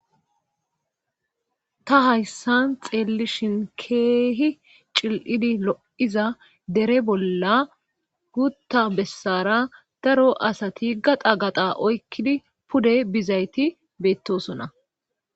ta hayssan xeellishin keehi cil7idi lo7iza dere bolla gutta bessara daro asati gaxa gaqa oykkidi pude bizayti beettosona